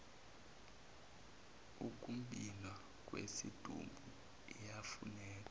ukumbhiwa kwesidumbu iyafuneka